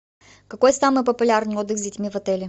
какой самый популярный отдых с детьми в отеле